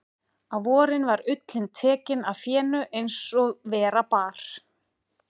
Á vorin var ullin tekin af fénu eins og vera bar.